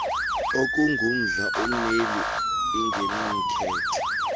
okungumdla wommeli ingenamkhethe